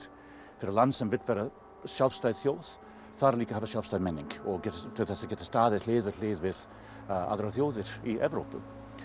fyrir land sem vill vera sjálfstæð þjóð þarf líka að hafa sjálfstæða menningu til að geta staðið hlið við hlið við aðrar þjóðir í Evrópu